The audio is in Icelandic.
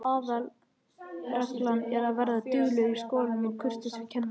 Aðalreglan er að vera duglegur í skólanum og kurteis við kennarana.